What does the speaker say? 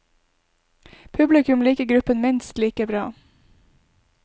Publikum i liker gruppen minst like bra.